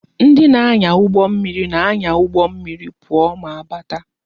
Ndị na-anya ụgbọ mmiri na-anya ụgbọ mmiri pụọ ma bata